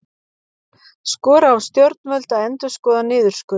Skora á stjórnvöld að endurskoða niðurskurð